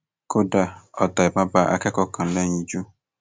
kódà ọta ìbọn bá akẹkọọ kan lẹyinjú